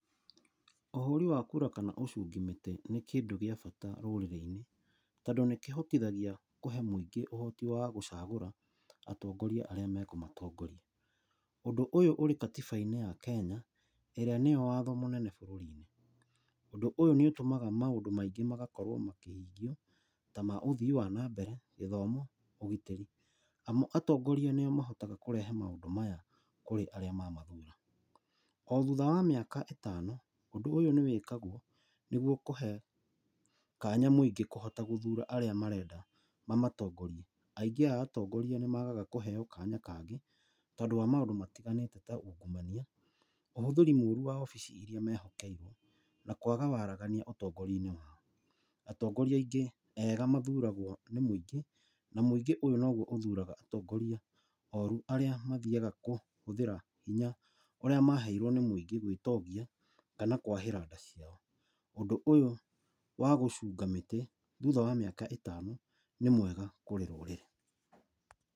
Ũhũri wa kura kana ũcungi mĩtĩ nĩ kĩndũ gĩa bata rũrĩrĩ-inĩ, tondũ nĩkĩhotithagia kũhe mũingĩ ũhoti wa gũcagũra atongoria arĩa mekũmatongoria. ũndu ũyũ ũrĩ katiba-inĩ ya Kenya ĩrĩa nĩyo watho mũnene bũrũri-inĩ. Ũndũ ũyũ nĩ ũtũmaga maũndũ maingĩ magakorwo makĩhingio, ta ma ũthii wa na mbere, gĩthomo, ũgitĩri, amu atongoria nĩo mahotaga kũrehe maũndũ maya kũrĩ arĩa mamathura. O thutha wa mĩaka ĩtano, ũndũ ũyũ nĩ wĩkagwo nĩguo kũhe kanya mũingĩ kũhota gũthura arĩa marenda mamatongorie. Aingĩ a atongoria nĩ magaga kũheo kanya kangĩ, tondũ wa maũndũ matiganĩte ta ungumania, ũhũthĩri mũru wa obici iria mehokeirwo, na kwaga waragania ũtongoria-inĩ wao. Atongoria aingĩ ega mathuragwo nĩ mũingĩ, na mũingĩ ũyũ noguo ũthuraga atongoria oru arĩa mathiaga kũhũthĩra hinya ũrĩa maheirwo nĩ mũingĩ gwĩtongia kana kwahĩra nda ciao. Ũndũ úyũ wa gũcunga mĩtĩ thutha wa mĩaka ĩtano nĩ mwega kũrĩ rũrĩ.